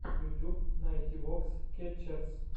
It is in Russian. ютьюб найти вокс кетчерз